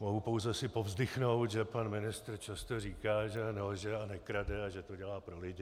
Mohu pouze si povzdychnout, že pan ministr často říká, že nelže a nekrade a že to dělá pro lidi.